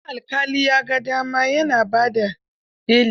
Idan alƙali ya ga dama, ya kan ba da beli.